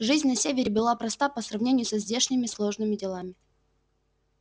жизнь на севере была проста по сравнению со здешними сложными делами